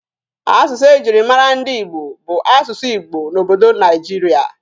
Asụsụ e jiri mara ndị Ibo bụ asụsụ Igbo n'obodo Naijiria.